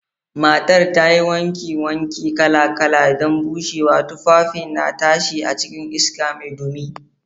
Matar ta yi wankin wanki kala-kala don bushewa, tufafin na tashi a cikin iska mai dumi.